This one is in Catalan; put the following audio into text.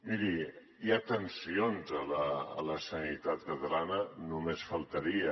miri hi ha tensions a la sanitat catalana només faltaria